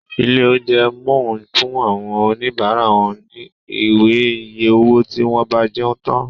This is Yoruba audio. Ilé oúnjẹ món fun àwọn òní bara wón ní Ìwé iye owó tí wón bá jẹun tán